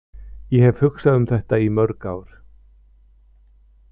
Ég hef hugsað um þetta í mörg ár.